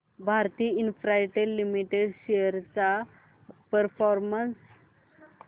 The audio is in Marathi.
भारती इन्फ्राटेल लिमिटेड शेअर्स चा परफॉर्मन्स